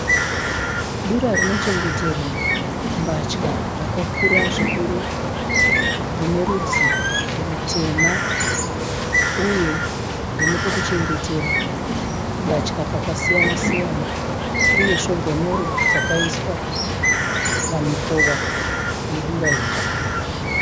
Dura rinochengeterwa mbatya rakakura zvikuru rine rudzi rutema uye rine pekuchengetera mbatya pakasiyana siyana uye svombonoro dzakaiswa pamikova yedura iri.